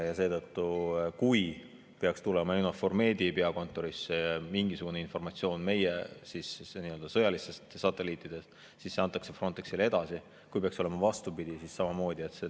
Kui EUNAVFOR Medi peakontorisse peaks tulema mingisugune informatsioon meie sõjalistelt satelliitidelt, siis see antakse Frontexile edasi, ja kui peaks olema vastupidi, siis samamoodi.